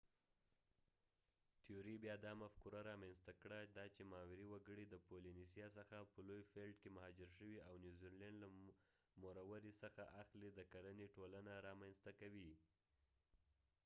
تیوري بیا دا مفکوره رامینځته کړه دا چې ماوري وګړي د پولینیسیا څخه په لوی فیلټ کې مهاجر شوي او نیوزیلینډ له موروري څخه اخلي د کرنې ټولنه رامینځته کوي